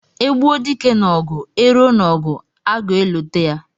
E gbuo dike n'ogu, e ruo n'ogu agueloteya.